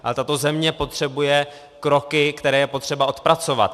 Ale tato země potřebuje kroky, které je potřeba odpracovat.